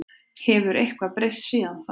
Hefur eitthvað breyst síðan þá?